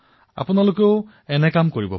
আপোনালোকেও এনে কৰিব পাৰে